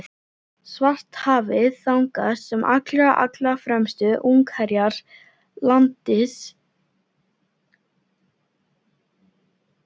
Svartahafið, þangað sem allra, allra fremstu ungherjar landsins eru sendir.